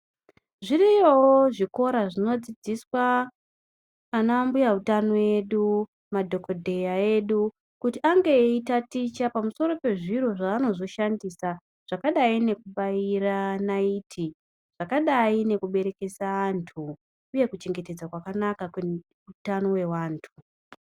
Zviriyowo zvikora zvinodzidziswa anambuya utano vedu, madhogodheya edu, kuti ange eitaticha pamusoro pezviro zveanozoshandisa zvakadai nekubaira naiti, zvakadai nekuberekesa antu uye kuchengetedzwa kwakanaka kweutano hwevantu.